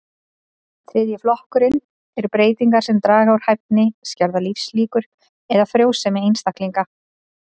Þriðji flokkurinn eru breytingar sem draga úr hæfni, skerða lífslíkur eða frjósemi einstaklinga.